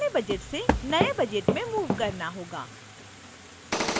पुराने budget से नए budget में मूव करना होगा